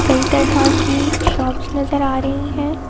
कई तरह की शॉप्स नजर आ रही है।